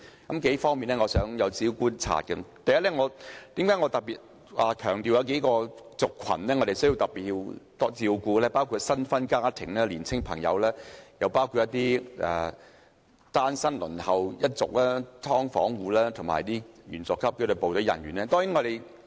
我就數方面的觀察所得如下：第一，我特別強調數個族群，我們需要特別照顧新婚家庭、青年人、輪候公屋的單身人士、"劏房戶"及紀律部隊員佐級人員。